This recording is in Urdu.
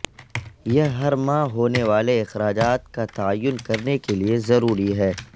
یہ ہر ماہ ھونے والے اخراجات کا تعین کرنے کے لئے ضروری ہے